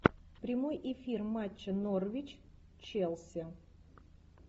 прямой эфир матча норвич челси